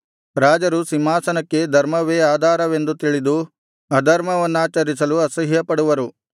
ರಾಜರು ಸಿಂಹಾಸನಕ್ಕೆ ಧರ್ಮವೇ ಆಧಾರವೆಂದು ತಿಳಿದು ಅಧರ್ಮವನ್ನಾಚರಿಸಲು ಅಸಹ್ಯಪಡುವರು